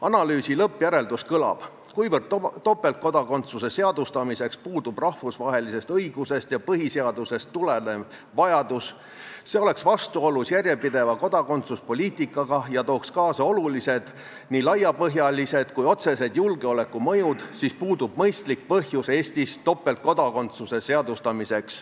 Analüüsi lõppjäreldus kõlab: kuna topeltkodakondsuse seadustamiseks puudub rahvusvahelisest õigusest ja põhiseadusest tulenev vajadus, see oleks vastuolus järjepideva kodakondsuspoliitikaga ja tooks kaasa olulised nii laiapõhjalised kui otsesed julgeolekumõjud, siis puudub mõistlik põhjus Eestis topeltkodakondsuse seadustamiseks.